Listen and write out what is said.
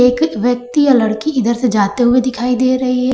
एक व्यक्ति या लड़की इधर से जाते हुए दिखाई दे रही है।